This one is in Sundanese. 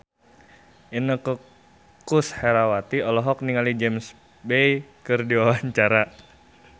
Inneke Koesherawati olohok ningali James Bay keur diwawancara